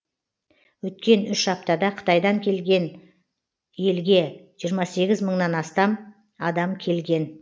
өткен үш аптада қытайдан келген елге жиырма сегіз мыңнан астам адам келген